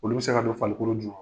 Olu bɛ se ka don farikolo ju